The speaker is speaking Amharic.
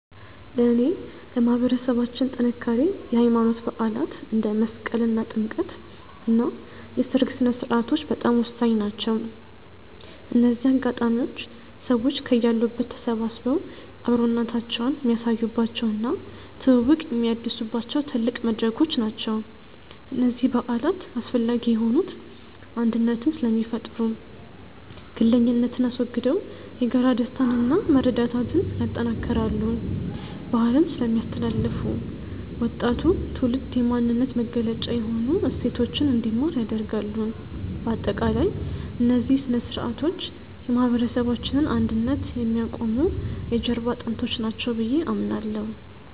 ለእኔ ለማህበረሰባችን ጥንካሬ የሃይማኖት በዓላት (እንደ መስቀልና ጥምቀት) እና የሰርግ ሥነ-ሥርዓቶች በጣም ወሳኝ ናቸው። እነዚህ አጋጣሚዎች ሰዎች ከያሉበት ተሰባስበው አብሮነታቸውን የሚያሳዩባቸው እና ትውውቅ የሚያድሱባቸው ትልቅ መድረኮች ናቸው። እነዚህ በዓላት አስፈላጊ የሆኑት አንድነትን ስለሚፈጥሩ፦ ግለኝነትን አስወግደው የጋራ ደስታንና መረዳዳትን ያጠናክራሉ። ባህልን ስለሚያስተላልፉ፦ ወጣቱ ትውልድ የማንነት መገለጫ የሆኑ እሴቶችን እንዲማር ያደርጋሉ። ባጠቃላይ፣ እነዚህ ሥነ-ሥርዓቶች የማህበረሰባችንን አንድነት የሚያቆሙ የጀርባ አጥንቶች ናቸው ብዬ አምናለሁ።